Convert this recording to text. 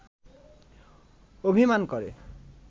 অভিমান করে